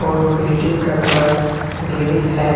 और बिल्डिंग का colour green है।